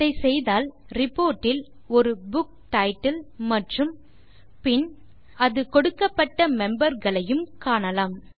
அதை செய்தால் ரிப்போர்ட் இல் ஒரு புக் டைட்டில் மற்றும் பின் அது கொடுக்கப்பட்ட மெம்பர்ஸ் ஐயும் காணலாம்